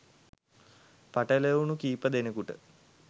පටැලවුණු කීප දෙනෙකුට